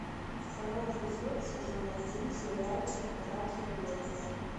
второй эпизод сезон один сериальчик удача и логика